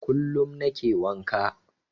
Kullum nake wanka.